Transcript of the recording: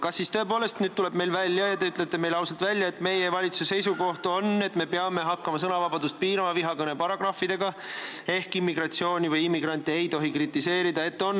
Kas siis tõepoolest te ütlete meile ausalt välja, et meie valitsuse seisukoht on, et me peame hakkama sõnavabadust vihakõne paragrahvidega piirama ehk siis immigratsiooni või immigrante ei tohi kritiseerida?